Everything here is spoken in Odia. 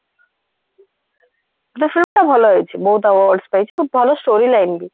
କିନ୍ତୁ film ଟା ଭଲ ହେଇଛି ବହୁତ awards ପାଇଛି କିନ୍ତୁ ଭଲ story line ବି